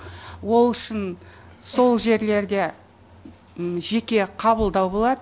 ол үшін сол жерлерде жеке қабылдау болады